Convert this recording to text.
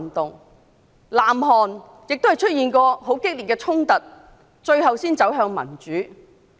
至於南韓亦出現過激烈的衝突，最後才能走向民主。